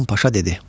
Hasan Paşa dedi: